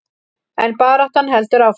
En baráttan heldur áfram.